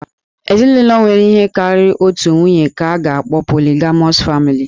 Ezinụlọ nwere ihe karịrị otu nwunye ka a ga-akpọ 'Polygamous family'